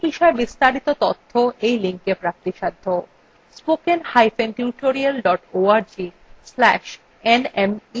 spoken hyphen tutorial dot org slash nmeict hyphen intro